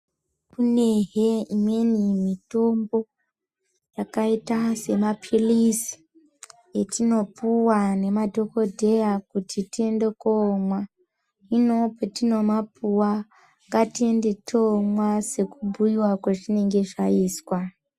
Kunehe imweni mitombo yakaita sema philizi etinopuwa ngema dhokodheya kuti tiende komwa . Hino patinomapuwa ngatiende tomwa sekubhuyiwa kwazvinenge zvaizwa.